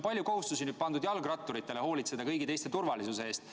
Selle eelnõuga on pandud jalgratturitele palju kohustusi hoolitseda kõigi teiste turvalisuse eest.